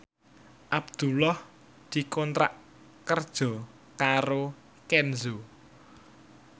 Abdullah dikontrak kerja karo Kenzo